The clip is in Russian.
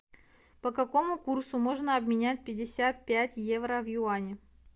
по какому курсу можно обменять пятьдесят пять евро в юани